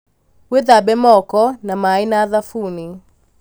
wĩthambe moko na maĩ na thabuni